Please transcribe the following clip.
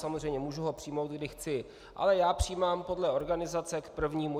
Samozřejmě, mohu ho přijmout, kdy chci, ale já přijímám podle organizace k prvnímu.